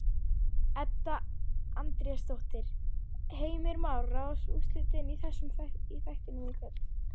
Edda Andrésdóttir: Heimir Már, ráðast úrslitin í þættinum í kvöld?